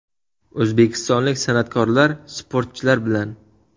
O‘zbekistonlik san’atkorlar sportchilar bilan .